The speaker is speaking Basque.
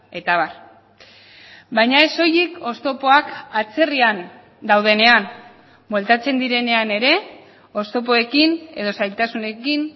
eta abar baina ez soilik oztopoak atzerrian daudenean bueltatzen direnean ere oztopoekin edo zailtasunekin